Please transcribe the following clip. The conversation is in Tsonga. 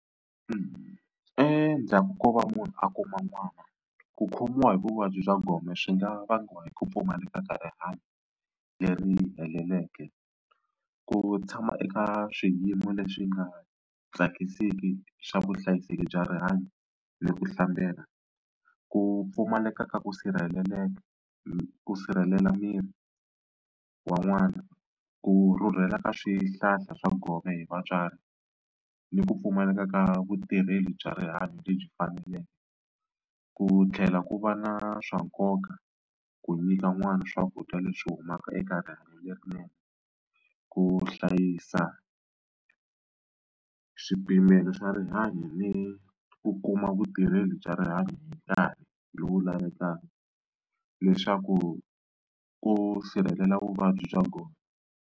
Endzhaku ko va munhu a kuma n'wana ku khomiwa hi vuvabyi bya gome swi nga vangiwa hi ku pfumaleka ka rihanyo leri heleleke, ku tshama eka swiyimo leswi nga tsakisiki swa vuhlayiseki bya rihanyo ni ku hlambela, ku pfumaleka ka ku sirheleleka ku sirhelela miri wa n'wana, ku rhurhela ka swihlahla swa gome hi vatswari ni ku pfumaleka ka vutirheli bya rihanyo lebyi faneleke, ku tlhela ku va na swa nkoka ku nyika n'wana swakudya leswi humaka eka rihanyo lerinene, ku hlayisa swipimelo swa rihanyo ni ku kuma vutirheli bya rihanyo hi nkarhi lowu lavekaka leswaku ku sirhelela vuvabyi bya gome.